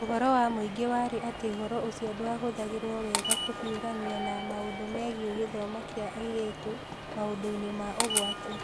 Ũhoro wa mũingĩ warĩ atĩ ũhoro ũcio ndwahũthĩragwo wega kũhiũrania na maũndũ megiĩ gĩthomo kĩa airĩtu maũndũ-inĩ ma ũgwati.